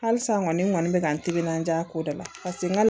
Halisa n kɔni bɛ ka n timinandiya ko da la paseke n ka